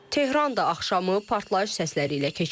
Tehran da axşamı partlayış səsləri ilə keçirib.